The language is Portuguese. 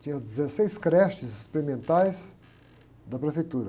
Tinha dezesseis creches experimentais da prefeitura.